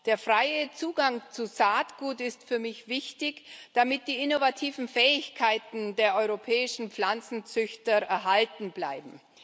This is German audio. Der freie Zugang zu Saatgut ist für mich wichtig, damit die innovativen Fähigkeiten der europäischen Pflanzenzüchter erhalten bleiben.